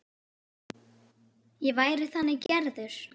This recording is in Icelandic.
Ég væri þannig gerður.